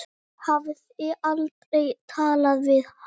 Hafði aldrei talað við hann.